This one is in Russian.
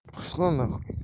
пошла на хуй